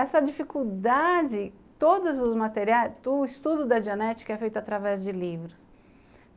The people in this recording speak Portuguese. Essa dificuldade, todos os materiais, o estudo da dianética é feito através de livros.